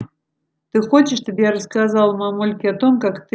ты хочешь чтобы я рассказала мамульке о том как ты